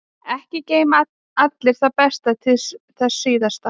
Ekki geyma allir það besta til þess síðasta.